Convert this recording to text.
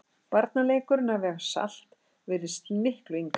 Barnaleikurinn að vega salt virðist miklu yngri.